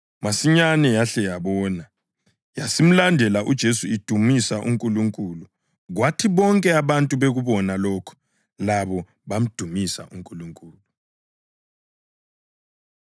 Masinyane yahle yabona, yasimlandela uJesu idumisa uNkulunkulu. Kwathi bonke abantu bekubona lokho, labo bamdumisa uNkulunkulu.